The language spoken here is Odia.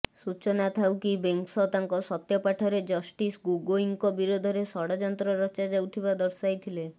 ସୂଚନା ଥାଉକି ବେଂସ ତାଙ୍କ ସତ୍ୟପାଠରେ ଜଷ୍ଟିସ ଗୋଗୋଇଙ୍କ ବିରୋଧରେ ଷଡ଼ଯନ୍ତ୍ର ରଚାଯାଉଥିବା ଦର୍ଶାଇଥିଲେ